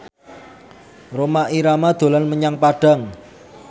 Rhoma Irama dolan menyang Padang